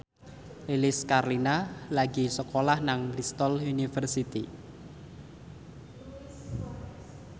Lilis Karlina lagi sekolah nang Bristol university